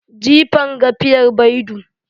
Jifan gafiyar baidu.